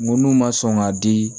N ko n'u ma sɔn ka di